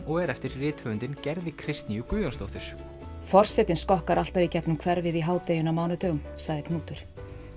og er eftir rithöfundinn Gerði Kristnýju Guðjónsdóttur forsetinn skokkar alltaf í gegnum hverfið í hádeginu á mánudögum sagði Knútur